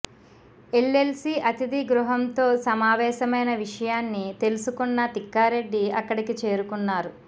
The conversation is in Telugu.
ఎల్లెల్సీ అతిథి గృహంతో సమావేశమైన విషయాన్ని తెలుసుకున్న తిక్కారెడ్డి అక్కడికి చేరుకున్నారు